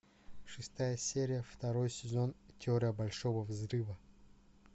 шестая серия второй сезон теория большого взрыва